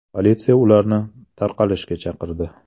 Politsiya ularni tarqalishga chaqirdi.